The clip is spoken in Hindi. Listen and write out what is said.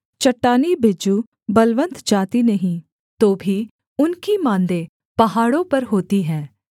चट्टानी बिज्जू बलवन्त जाति नहीं तो भी उनकी माँदें पहाड़ों पर होती हैं